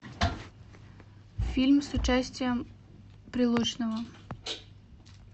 фильм с участием прилучного